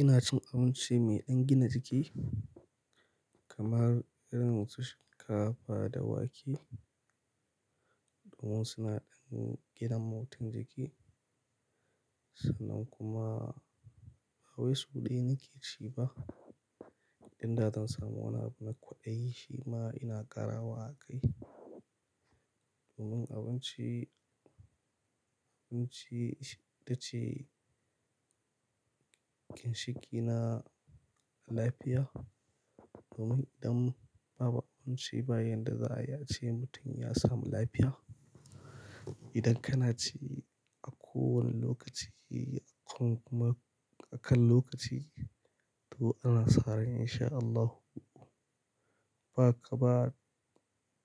Ina cin abinci mai ɗan gina jiki kamar irin su shinkafa da wake. Domin suna ɗan gina mutu jiki. Sannan kuma ba wai su ɗaya nake ci ba. Inda zan samu wani abu na kwaɗayi shima ina ƙarawa akai domin abinci, abinci ita ce ginshiki na lafiya. Domin idan babu abinci bayan da za'ayi a ce mutum ya samu lafiya. Idan kana ci a kowane lokaci kuma a kan lokaci to ana sa rai insha Allahu. Ba ka ba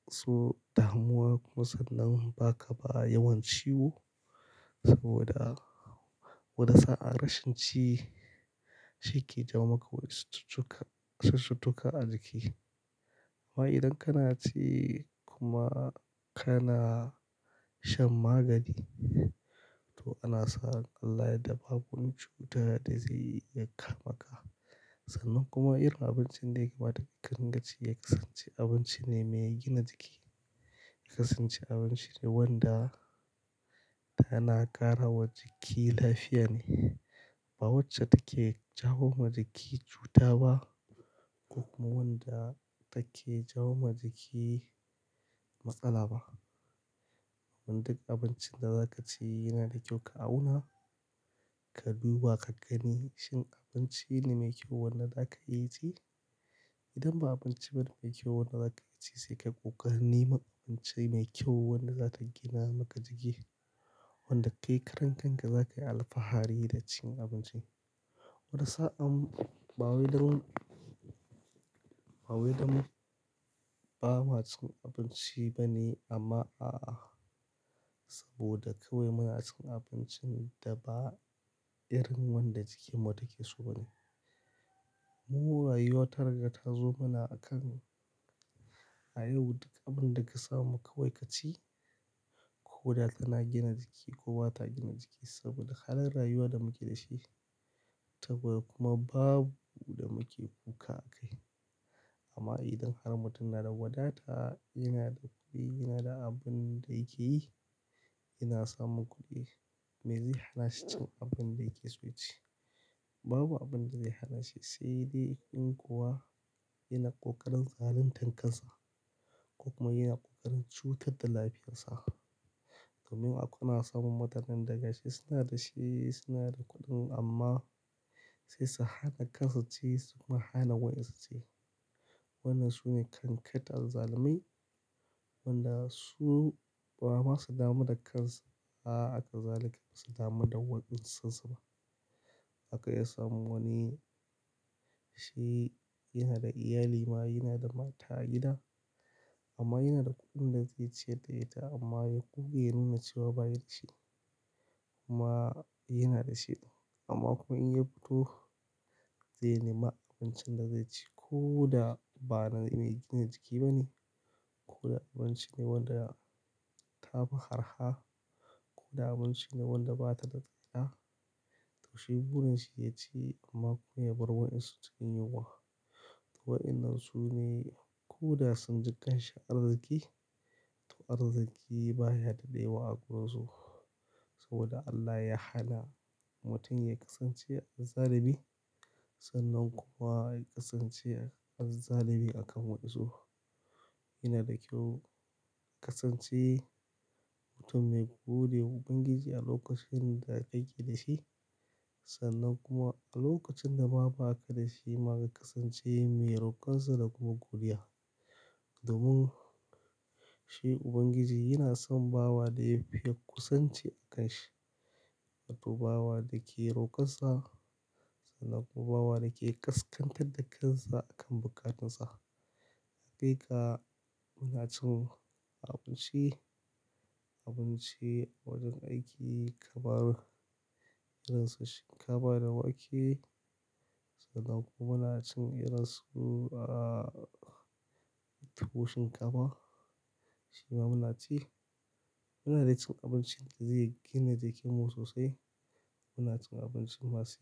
su damuwa kuma sannan ba ka ba yawan ciwo saboda wani sa'a rashin ci shi ke jawo maka wasu cututtuka, cututtuka a jiki. Amma idan kana ci kuma kana shan magani to ana sa ran Allah ya yadda ba wani cuta, da zai iya ka maka. Sannan kuma irin abincin da yake matukar inganci ya kasance abinci ne mai gina jiki. Ya kasance abinci ne wanda yana ƙara wa jiki lafiya ne. Ba wacce take jawo wa jiki cuta ba ko kuma wanda take jawo wa jiki matsala ba. Duk abincin da za ka ci yana da kyau ka auna, ka duba ka gani shin abinci ne mai kyau wanda za ka yi ci. Idan ba abinci bane mai kyau wanda za ka ci sai kai ƙoƙari neman abinci mai kyau wanda za ta gina maka jiki. Wanda kai karan kanka zakai alfahari da cin abincin. Wani sa'a ba wai dam, ba wai dam ba ma cin abinci bane amma a'a. Saboda kawai muna cin abincin da ba irin wanda jikin mu take so bane. Mu rayuwa ta raga ta zo mana a kan, a yau duk abunda ka samu kawai kaci. Ko da yana gina jiki ko ba ta gina jiki saboda halin rayuwa da muke da shi. Saboda kuma babu da muke kuka a kai. Amma idan har mutum na da wadata yana da kuɗi, yana da abin da yake yi, yana samun kuɗi me zai hana shi cin abin da yake so ya ci. Babu abin da zai hana shi sai dai in kuwa yana ƙoƙarin zalin tan kansa ko kuma yana ƙoƙarin cutar da lafiyarsa. Sannan akwai masu samun mutanen da gashi suna dashi suna da kuɗin amma sai su hana kansu ci su kuma hana waɗansu ci. Wannan sune kankat azzalumai. Waɗanda su ba ma su damu da kansu. A akazalika ba su damu da waɗansu ba. Aka iya samun wani shi yana da iyali ma yana da mata gida amma yana da kuɗin da zai ciyar da ita amma ya ƙuge ya nuna cewa baya da shi. Amma yana da shi amma kuma in ya fito zai nema abincin da zai ci. Ko da bana mai gina jiki bane ko da abinci ne wanda ta fi harha ko da abinci ne wanda ba ta da tsada. Toshi burin shi ya ci amma kuma ya bar wanyansu cikin yunwa. To waɗannan su ne ko da sun ji ƙanshi arziki to arziki baya daɗe wa a gun su. Saboda Allah ya hana mutum ya ƙasance azzalumi sannan kuma ya ƙasance azzalumi akan waɗansu. Yana da kyau ka kasance mutum mai gudu da ubangiji a lokacin da yake da shi sannan kuma a lokacin da ma ba ka da shi ma ka ƙasance mai roƙonsa da kuma godiya. Domin shi ubangiji yana son bawa da ya fi kusanci a kan shi. To bawa da ke roƙonsa sannan kuma bawa da ke ƙasƙantar da kansa a kan bukatunsa. Hakika muna cin abinci, abinci a wajen aiki kamar irin su shinkafa da wake. Sannan kuma muna cin irin su, ah, tuwo shinkafa. Shi ma muna ci. Muna dai cin abincin da zai gina jiki mu sosai muna cin abincin masu.